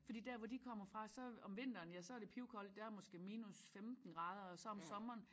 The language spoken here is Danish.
Fordi dér hvor de kommer fra så om vinteren ja så er det pivkoldt der er måske minus 15 grader og så om sommeren